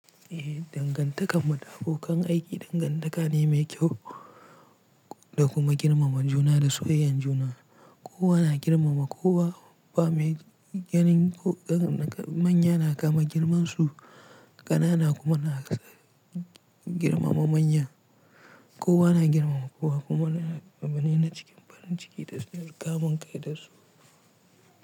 Eh, dangantakar muda abokan aiki dangantaka ne mai kyau da kuma girmamar juna da soyayyar juna. Kowa na girmama kowa ba mai gani ko manya na kama girmansu ƙanana kuma na girmama manya. Kowa na girmama kowa kuma na girmama wani na cikin farin ciki da kamun kai da su.